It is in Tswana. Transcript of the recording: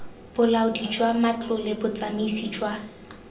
bolaodi jwa matlole botsamaisi jwa